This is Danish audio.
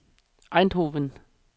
Eindhoven